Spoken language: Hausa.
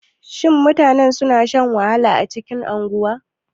Shin mutane suna shan wahala a cikin unguwa?